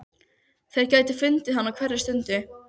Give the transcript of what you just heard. Þeir gætu fundið hana á hverri stundu.